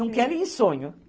Não quero ir em sonho.